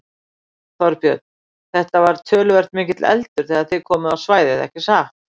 Þorbjörn: Þetta var töluvert mikill eldur þegar þið komuð á svæðið ekki satt?